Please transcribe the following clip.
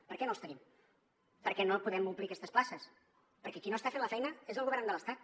per què no els tenim per què no podem omplir aquestes places perquè qui no està fent la feina és el govern de l’estat